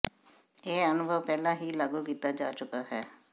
ਇਹ ਅਨੁਭਵ ਪਹਿਲਾਂ ਹੀ ਲਾਗੂ ਕੀਤਾ ਜਾ ਚੁੱਕਾ ਹੈ